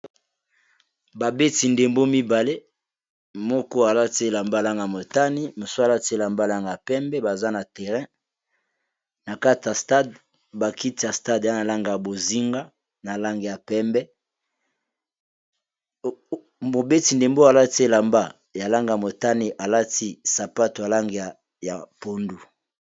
Ba beti ndembo mibale moko alati elamba ya langi ya motane mosusu alati elamba ya langi ya pembe baza na terrain na kati ya stade ba kiti ya stade eza na langi ya bozinga na langi ya pembe mobeti ndembo oyo alati elamba ya langi ya motane alati sapatu eza na Langi ya pondu.